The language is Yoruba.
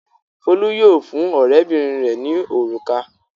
Folú yóò fún ọ̀rẹ́bìnrin rẹ̀ ní òrùka.